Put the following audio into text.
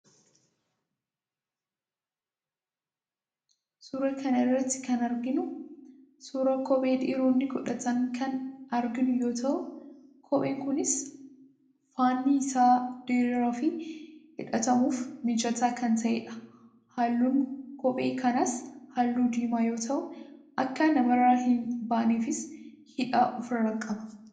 Suuraa kana irratti kan arginu suuraa kophee dhiironni godhatan kan arginu yoo ta'u, kopheen kunis faanni isaa diraaraa fi hidhatamuuf mijataa kan ta'edha. Halluun kophee kanaas halluu diimaa yoo ta'u, akka namarraa hin baaneefis hidhaa ofirraa qaba.